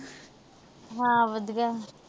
ਹਾਂ ਵਧੀਆ।